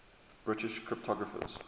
british cryptographers